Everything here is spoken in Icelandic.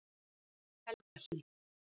Helgahlíð